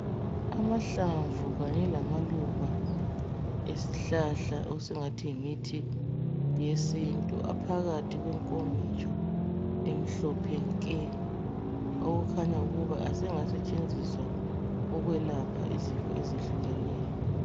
Amahlamvu kanye lamaluba ezihlahla esingathi yimithi yesintu aphakathi kwenkomitsho emhlophe nke okukhanya ukuba asengasentshenziswa ukwelapha izifo ezehlukeneyo.